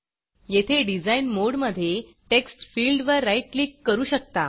येथे डिझाईन मोडमधे textfieldटेक्स्टफील्ड वर राईट क्लिक करू शकता